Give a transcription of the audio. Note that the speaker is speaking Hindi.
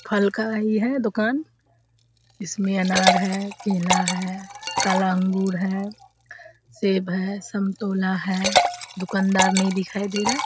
फल का है यह दुकान इसमें अनार है केला है काला अंगूर है सेब है संतोला है दुकान नहीं दिखाई दे रहा है।